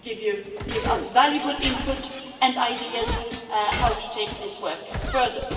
It will give us valuable input and ideas how to take this work further.